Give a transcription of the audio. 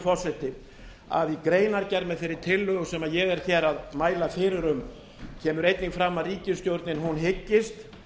forseti að í greinargerð með þeirri tillögu sem ég er að mæla fyrir kemur einnig fram að ríkisstjórnin hyggist